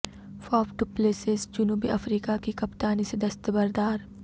Faf du Plessis جنوبی افریقہ کی کپتانی سے دستبردار